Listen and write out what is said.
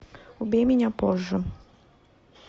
убей меня позже